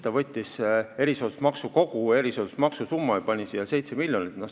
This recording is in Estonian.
Ta võttis lihtsalt kogu erisoodustusmaksu summa ja pani siia kirja 7 miljonit.